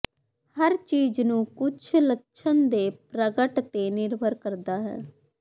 ਹਰ ਚੀਜ਼ ਨੂੰ ਕੁਝ ਲੱਛਣ ਦੇ ਪ੍ਰਗਟ ਤੇ ਨਿਰਭਰ ਕਰਦਾ ਹੈ